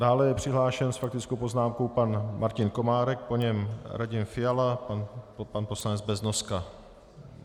Dále je přihlášen s faktickou poznámkou pan Martin Komárek, po něm Radim Fiala, pan poslanec Beznoska.